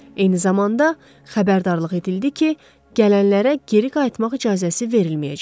Eyni zamanda xəbərdarlıq edildi ki, gələnlərə geri qayıtmaq icazəsi verilməyəcək.